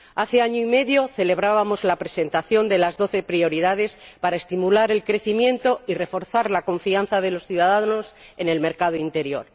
Hace año y medio celebrábamos la presentación de las doce prioridades para estimular el crecimiento y reforzar la confianza de los ciudadanos en el mercado único.